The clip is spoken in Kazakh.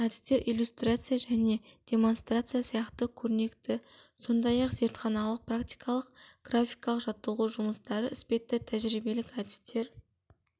әдістер иллюстрация және демонстрация сияқты көрнекі сондай-ақ зертханалық практикалық графикалық жаттығу жұмыстары іспетті тәжірибелік әдістер